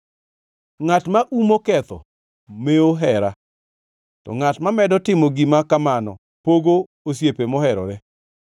Ngʼat ma umo ketho mewo hera, to ngʼat mamedo timo gima kamano pogo osiepe moherore.